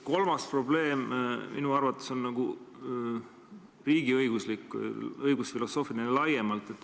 Kolmas probleem on minu arvates riigiõiguslik, laiemalt õigusfilosoofiline.